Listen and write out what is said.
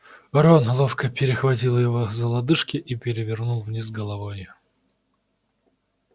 рон ловко перехватил его за лодыжки и перевернул вниз головой